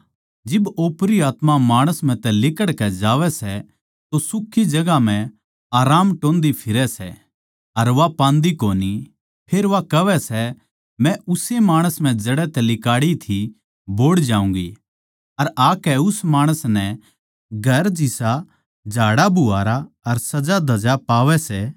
जिब ओपरी आत्मा माणस म्ह तै लिकड़कै जावै सै तो सुक्खी जगहां म्ह आराम टोह्न्दी फिरै सै अर पांदी कोनी फेर कहवै सै मै उस्से माणस म्ह जड़ै तै लिकड़ी थी बोहड़ जाऊँगी अर आकै उस माणस नै घर जिसा झाड़ाबुहारा अर सजाधज्या पावै सै